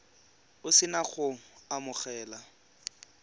o se na go amogela